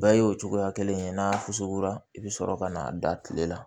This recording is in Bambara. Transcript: Bɛɛ y'o cogoya kelen ye n'a sukuyara i bɛ sɔrɔ ka na da tile la